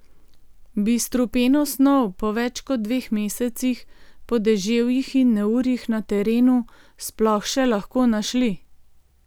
Bi strupeno snov po več kot dveh mesecih, po deževjih in neurjih na terenu sploh še lahko našli?